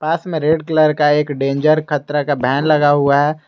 पास मे red colour का एक डेंजर खतरा का बैन लगा हुआ है।